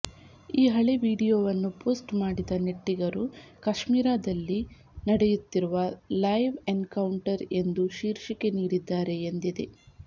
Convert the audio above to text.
ಈ ಹಳೆ ವಿಡಿಯೊವನ್ನು ಪೋಸ್ಟ್ ಮಾಡಿದ ನೆಟ್ಟಿಗರು ಕಾಶ್ಮೀರದಲ್ಲಿ ನಡೆಯುತ್ತಿರುವ ಲೈವ್ ಎನ್ಕೌಂಟರ್ ಎಂದು ಶೀರ್ಷಿಕೆ ನೀಡಿದ್ದಾರೆ ಎಂದಿದೆ